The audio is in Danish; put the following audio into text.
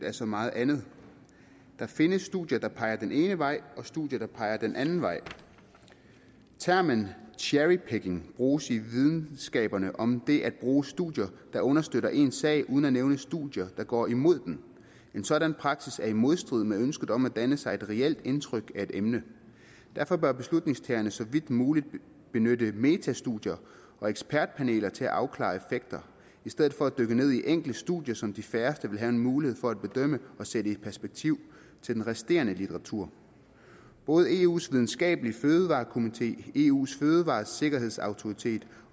af så meget andet der findes studier der peger den ene vej og studier der peger den anden vej termen cherry picking bruges i videnskaberne om det at bruge studier der understøtter en sag uden at nævne studier der går imod den en sådan praksis er i modstrid med ønsket om at danne sig et reelt indtryk af et emne derfor bør beslutningstagerne så vidt muligt benytte metastudier og ekspertpaneler til at afklare effekter i stedet for at dykke ned i enkeltstudier som de færreste vil have en mulighed for at bedømme og sætte perspektiv i forhold til den resterende litteratur både eus videnskabelige fødevarekomité eus fødevaresikkerhedsautoritet